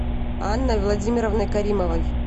анной владимировной каримовой